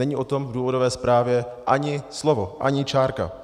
Není o tom v důvodové zprávě ani slovo, ani čárka.